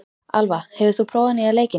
Alva, hefur þú prófað nýja leikinn?